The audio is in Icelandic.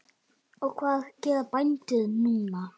Og hvað gera bændur núna?